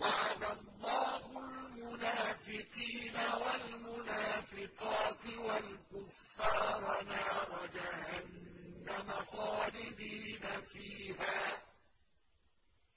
وَعَدَ اللَّهُ الْمُنَافِقِينَ وَالْمُنَافِقَاتِ وَالْكُفَّارَ نَارَ جَهَنَّمَ خَالِدِينَ فِيهَا ۚ